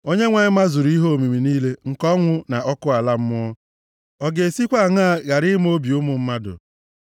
Onyenwe anyị mazuru ihe omimi niile nke ọnwụ na ọkụ ala mmụọ; ọ ga-esikwa aṅaa ghara ịma obi ụmụ mmadụ?